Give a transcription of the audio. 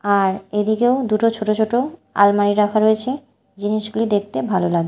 আর এদিকেও দুটো ছোট ছোট আলমারি রাখা রয়েছে জিনিসগুলি দেখতে ভালো লাগ--